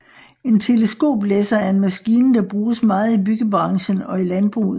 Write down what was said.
En teleskoplæsser er en maskine der bruges meget i byggebranchen og i landbruget